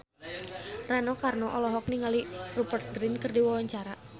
Rano Karno olohok ningali Rupert Grin keur diwawancara